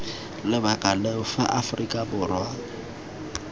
lebaka leo fa aforika borwa